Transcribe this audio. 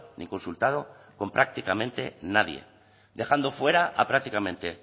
ni consultado con prácticamente nadie dejando fuera a prácticamente